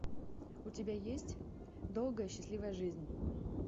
у тебя есть долгая счастливая жизнь